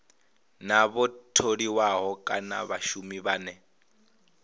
na vhatholiwa kana vhashumi vhane